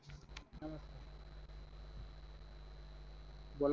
बोला